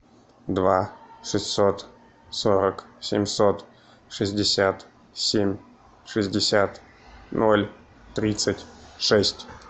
два шестьсот сорок семьсот шестьдесят семь шестьдесят ноль тридцать шесть